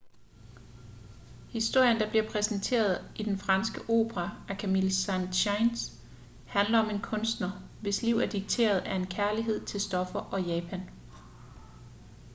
historien der bliver præsenteret i den franske opera af camille saint-saens handler om en kunstner hvis liv er dikteret af en kærlighed til stoffer og japan